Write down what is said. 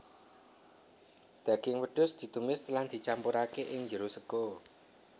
Daging wedhus ditumis lan dicampurake ing jero sega